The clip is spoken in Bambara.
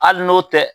Hali n'o tɛ